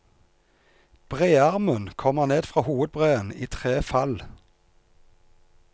Brearmen kommer ned fra hovedbreen i tre fall.